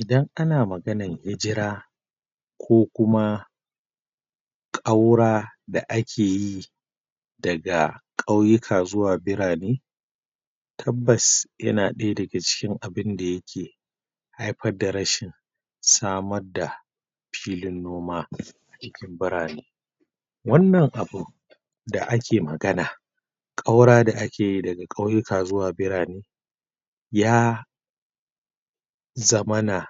Idan ana maganar hijira ko kuma ƙaura da ake yi daga ƙauyuka zuwa birane tabbas yana ɗaya daga ciki abin da ya ke haifar da rashin samar da lifin noma cikin birane wannan abu da ake magana ƙaura da ake yi daga ƙauyuka zuwa birane ya zamana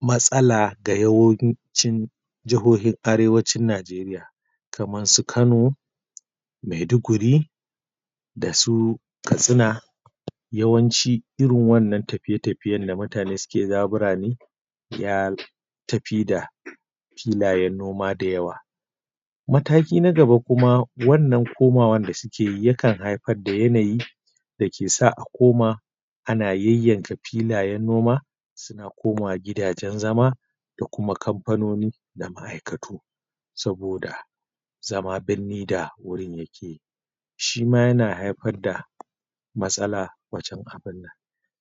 matsala da yawancin jahohin Arewacin Najeriya kamar su Kano Maiduguri da su Katsina yawanci irin wannan tafiye-tafiyen da mutane suke na birane ya tafi da filayen noma da yawa mataki na gaba kuma wannan komawa da suke yi yakan haifar da yanayi da ke sa akoma ana yayyanka filayen noma suna komawa gidajen zama da kuma kamfanoni da ma'aikatu saboda zama birni da wurin yake yi shi ma yana haifar da matsala wajen abun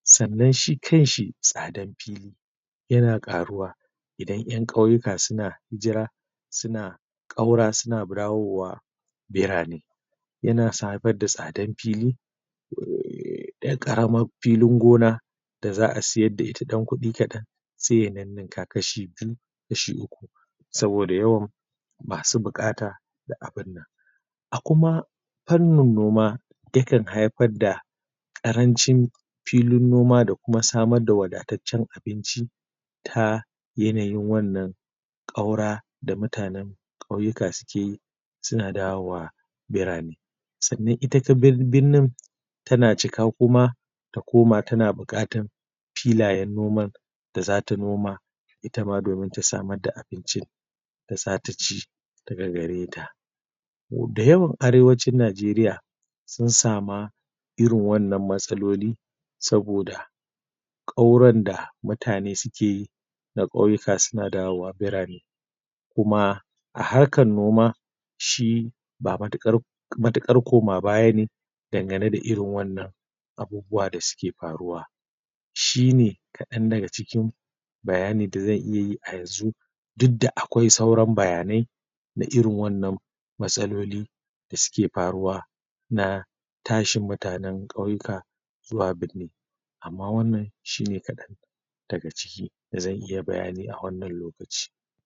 sannan shi kanshi tsadan fili yana ƙaruwa idan ƴan ƙauyuka suna hijira suna ƙaura suna dawowa birane yana sadar da tsadan fili Yar ƙaramar filin gona da za a siyar da ita ƴan kuɗi kaɗan sai ya ninninka kashi biyu kashi uku saboda yawan masu buƙata a kuma fannin noma yakan haifar da ƙarancin filin noma da kuma samar da wadataccen abinci ta yanayin wannan ƙaura da mutanen ƙauyuka suke yi suna dawowa birane. Sannan ita kuma birnin tana cika kuma ta koma tana buƙatar filayen noman da za ta noma ita ma ta samar da abincin ta sa ta ci kuma gare ta da yawan Arewacin Najeriya sun sama irin wannan matsalolin ƙauran da mutane suke yi na ƙauyuka suna dawowa birane kuma a harkar noma shi ba matuƙar matuƙar koma baya ne dangane da irin wannan abubuwan da suke faruwa ba shi ne kaɗan daga cikin bayanin da zan iya yi yanzu duk da akwai sauran nbayanai na irin waɗannan matsaloli da suke faruwa na tashin mutanen ƙauyuka zuwa birni amma wannan shi ne kaɗan daga cikin da zan iya bayani a wannan lokaci.